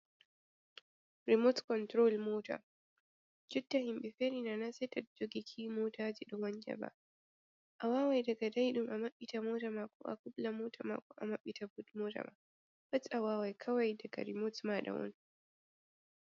Rimot kontrol mota, jotta himɓe feri na na sei to jogi ki motaji ɗo wanca ba, a wawan daga daiɗum a maɓɓita mota ma, ko a kubla mota ma ko a maɓɓita but mota ma pat awawai kawai daga rimot mota ma on.